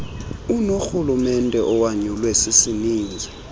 unorhulumente owanyulwe sisininzi